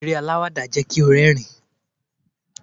eré alawada jẹ ki o rérìn